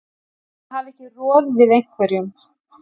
Að hafa ekki roð við einhverjum